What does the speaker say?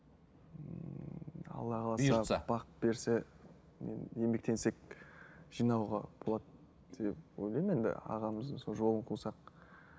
ммм бақ берсе енді еңбектенсек жинауға болады деп ойлаймын енді ағамыздың сол жолын қусақ